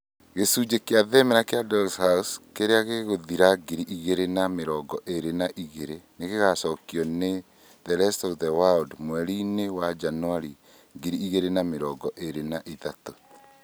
Gĩcunjĩ kĩa thenema, "A doll's House" kĩrĩa gĩgũthira ngiri igĩrĩ na mĩrongo ĩrĩ na igĩrĩ nĩ gĩgaacokio nĩ "The rest of the World" mweri-inĩ wa Janũarĩ ngiri igĩrĩ na mĩrongo ĩrĩ na ithatũ.